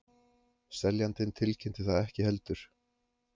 Seljandinn tilkynnti það ekki heldur